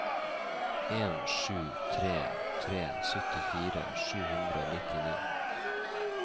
en sju tre tre syttifire sju hundre og nittini